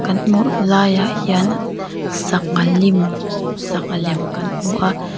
kan hmuh laiah hian sangha lim sangha lem kan hmu a.